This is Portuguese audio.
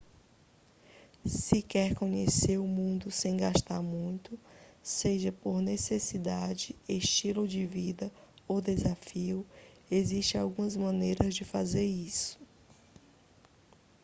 se quer conhecer o mundo sem gastar muito seja por necessidade estilo de vida ou desafio existem algumas maneiras de fazer isso